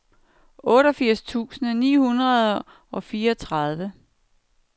otteogfirs tusind ni hundrede og fireogtredive